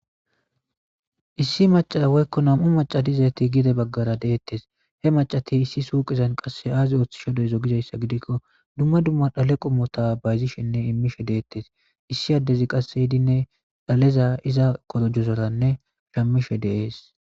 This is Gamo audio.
Issi maca woyikko namu maca dizayit gede bagara detees he macat issi suqeza azi oththishe deizo gizayisa gidikko qase dumma dumma dale qommota bazishenne shamidhshe detees issi adezi qase yidinne dhale iza qodhera shamishe dees